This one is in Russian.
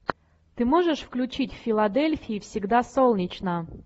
ты можешь включить в филадельфии всегда солнечно